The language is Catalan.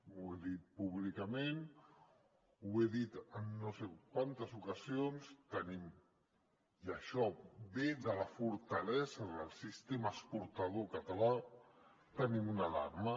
ho he dit públicament ho he dit en no sé quantes ocasions tenim i això ve de la fortalesa del sistema exportador català una alarma